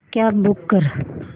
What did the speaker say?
cab book कर